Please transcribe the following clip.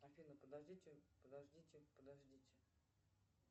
афина подождите подождите подождите